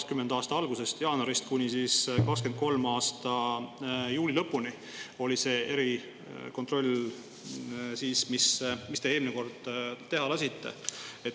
See erikontroll, mis te eelmine kord teha lasite, 2020. aasta algusest, jaanuarist, kuni 2023. aasta juuli lõpuni.